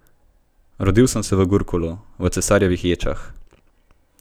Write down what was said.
Rodil sem se v Gurkulu, v cesarjevih ječah.